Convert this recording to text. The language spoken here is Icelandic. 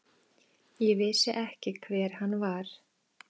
Ég vissi ekki hver hann var.